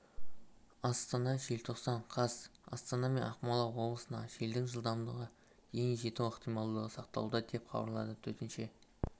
астана желтоқсан қаз астана мен ақмола обылысында желдің жылдамдығы дейін жету ықтималдығы сақталуда деп хабарлады төтенше